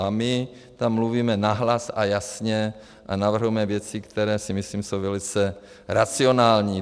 A my tam mluvíme nahlas a jasně a navrhujeme věci, které si myslím jsou velice racionální.